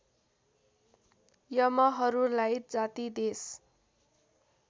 यमहरूलाई जाति देश